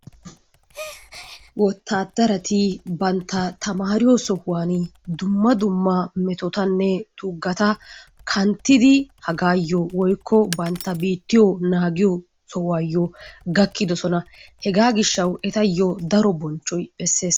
Wottadaratti bantta tamariyo sohuwaan dumma dumma metottanne tugatta kanttidi hagayo woykko bantta biittiyo naagiyo sohuwaayo gakidosona. Hegaa gishshawu etayo daro bonchchoy besses.